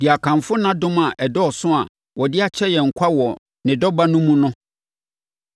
de akamfo nʼadom a ɛdɔɔso a ɔde akyɛ yɛn kwa wɔ ne Dɔ Ba no mu no.